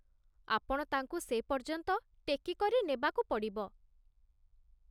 ଆପଣ ତାଙ୍କୁ ସେ ପର୍ଯ୍ୟନ୍ତ ଟେକି କରି ନେବାକୁ ପଡ଼ିବ